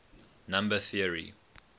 number theory